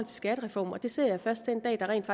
skattereformen og det ser jeg først den dag der rent